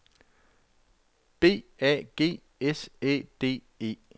B A G S Æ D E